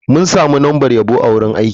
Mun sami lambar yabo a wurin aiki.